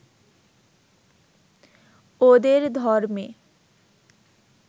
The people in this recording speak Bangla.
ওদের ধর্মে